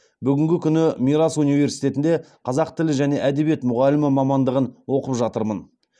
бүгінгі күні мирас университетінде қазақ тілі және әдебиеті мұғалімі мамандығын оқып жатырмын